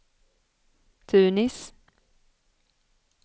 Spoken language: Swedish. Tunis